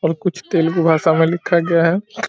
और कुछ तेलेगु भाषा में लिखा गया है ।